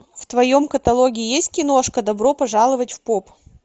в твоем каталоге есть киношка добро пожаловать в поп